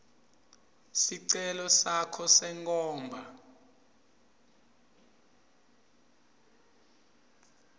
sicelo sakho senkhomba